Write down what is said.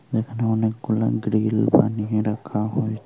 এখানে অনেকগুলা গ্রীল বানিয়ে রাখা হয়েছ--